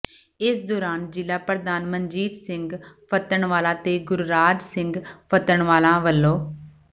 ਇਸ ਦੌਰਾਨ ਜ਼ਿਲ੍ਹਾ ਪ੍ਰਧਾਨ ਮਨਜੀਤ ਸਿੰਘ ਫੱਤਣਵਾਲਾ ਤੇ ਗੁਰਰਾਜ ਸਿੰਘ ਫੱਤਣਵਾਲਾ ਵੱਲੋਂ